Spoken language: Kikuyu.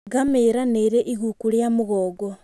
Ngamĩra nĩ ĩrĩ iguku rĩa mũgongo.